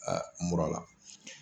mura la.